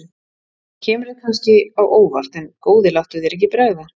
Það kemur þér kannski á óvart en góði láttu þér ekki bregða.